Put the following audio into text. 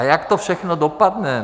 A jak to všechno dopadne?